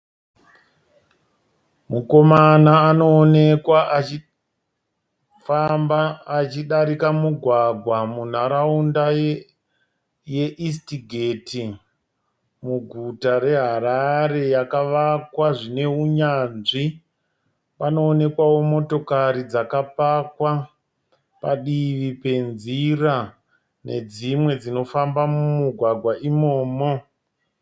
Mukomana anoonekwa achifamba achidarika mugwagwa munharaunda yeEastgate muguta reHarare yakavakwa zvine neunyanzvi. Panoonekwawo motokari dzakapakwa padivi penzira nedzimwe dzinofamba mumugwagwa imomo.